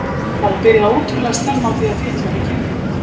Það var byrjað ótrúlega snemma á því að fitla við kynlífið.